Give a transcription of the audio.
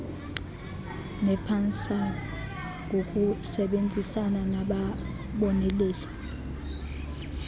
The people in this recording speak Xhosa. nepansalb ngokusebenzisana nababoneleli